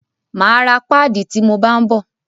Máa ra páàdì ti mo bá ń bọ̀.